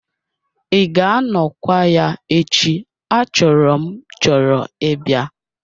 Ị ga-anọkwa ya echi achọrọ m chọrọ ịbịa?